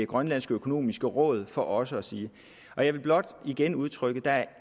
grønlandsk økonomisk råd for også at sige jeg vil blot igen udtrykke at